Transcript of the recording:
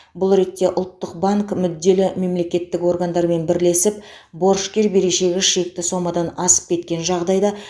бұл ретте ұлттық банк мүдделі мемлекеттік органдармен бірлесіп борышкер берешегі шекті сомадан асып кеткен жағдайда